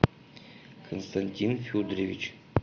константин федорович